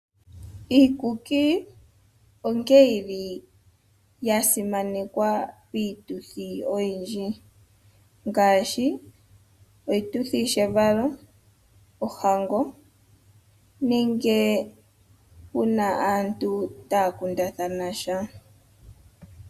Iikuki onkene yili yasimanekwa piituthi oyindji ngashi oshituthi shevalo, ohango nenge una aantu taya kundathanasha.